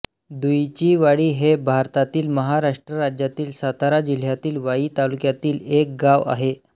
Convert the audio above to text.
दुईचीवाडी हे भारतातील महाराष्ट्र राज्यातील सातारा जिल्ह्यातील वाई तालुक्यातील एक गाव आहे